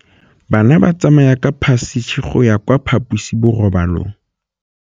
Bana ba tsamaya ka phašitshe go ya kwa phaposiborobalong.